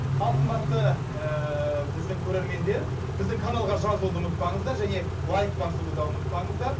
ал қымбатты ыыы біздің көрермендер біздің каналға жазылуды ұмытпаңыздар және лайк басуды да ұмытпаңыздар